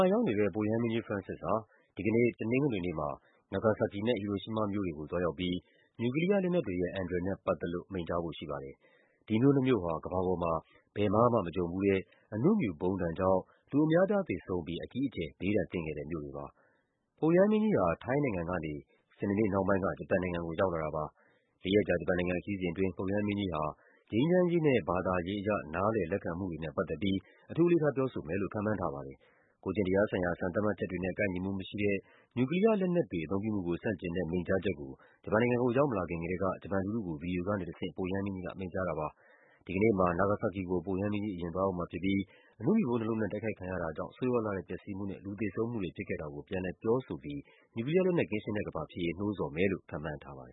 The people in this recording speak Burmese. ှာ ရောက်နေတဲ့ ပုပ်ရဟန်းမင်းကြီး Francis ဟာ ဒီကနေ့ တနင်္ဂနွေနေ့မှာ နာဂါဆာကီနဲ့ ဟီရိုရှီးမားမြို့တွေကို သွားရောက်ပြီး နျူကလီးယား လက်နက်တွေရဲ့ အန္တရာယ်နဲ့ ပတ်သက်လို့ မိန့်ကြားဖို့ရှိပါတယ်။ ဒီမြို့နှစ်မြို့ဟာ ကမ္ဘာပေါ်မှာ ဘယ်မှာမှမကြုံဘူးတဲ့ အဏုမြူဗုံးဒဏ်ကြောင့် လူအများအပြား သေဆုံးပြီး အကြီးအကျယ် ဘေးဒဏ်သင့်ခဲ့တဲ့ မြို့တွေပါ။ ပုပ်ရဟန်းမင်းကြီးဟာ ထိုင်းနိုင်ငံကနေ စနေနေ့နှောင်းပိုင်းက ဂျပန်နိုင်ငံကို ရောက်လာတာပါ။ လေးရက်ကြာ ဂျပန်နို်င်ငံခရီးစဉ်အတွင်း ပုပ်ရဟန်းမင်းကြီးဟာ ငြိမ်းချမ်းရေးနဲ့ ဘာသာရေးအရ နားလည်လက်ခံမှုတွေနဲ့ ပတ်သက်ပြီး အထူးအလေးထား ပြောဆိုမယ်လို့ ခန့်မှန်းထားပါတယ်။ ကိုယ်ကျင့်တရားဆိုင်ရာ စံသတ်မှတ်ချက်တွေနဲ့ ကိုက်ညီမှုမရှိတဲ့ နျူကလီးယား လက်နက်တွေ အသုံးပြုမှုကို ဆန့်ကျင်တဲ့ မိန့်ကြားချက်ကို ဂျပန်နိုင်ငံကို ရောက်မလာခင်ကတည်းက ဂျပန်လူထုကို ဗွီဒီယိုကနေတဆင့် ပုပ်ရဟန်းမင်းကြီးက မိန့်ကြားထားတာပါ။ ဒီကနေ့ တနင်္ဂနွေနေ့မှာ နာဂါဆာကီမြို့ကို ပုပ်ရဟန်းမင်းကြီး အရင်သွားရောက်မှာဖြစ်ပြီး အဏုမြူဗုံးနှစ်လုံးနဲ့ တိုက်ခိုက်ခံရတာကြောင့် ဆိုးရွားလှတဲ့ ပျက်စီးမှုနဲ့ လူသေဆုံးမှုတွေ ဖြစ်ခဲ့တာကို ပြန်လည်ပြောဆိုပြီး နျူကလီးယားလက်နက် ကင်းရှင်းတဲ့ ကမ္ဘာဖြစ်ရေး နှိုးဆော်မယ်လို့ ခန့်မှန်းထားပါတယ်